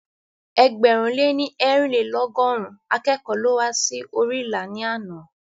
Ẹgbẹ̀rún lè ní eerinlelogọrun akẹ́kọ̀ọ́ ló wá sí orí ilà ní àná